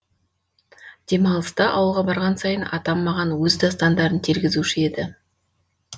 демалыста ауылға барған сайын атам маған өз дастандарын тергізуші еді